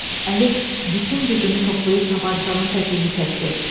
Əlif bütün gücünü toplayıb tapançanın tətiyini çəkdi.